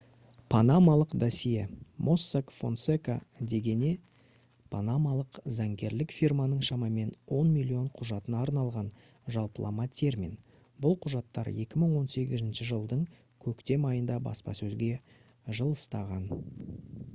«панамалық досье» mossack fonseca дегене панамалық заңгерлік фирманың шамамен он миллион құжатына арналған жалпылама термин. бұл құжаттар 2018 жылдың көктем айында баспасөзге жылыстаған